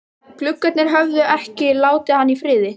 Gluggarnir höfðu ekki látið hann í friði.